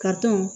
Ka tɔn